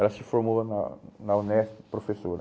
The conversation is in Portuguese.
Ela se formou na na UNESP, professora.